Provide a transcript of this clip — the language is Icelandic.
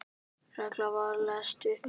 Reglan var leyst upp.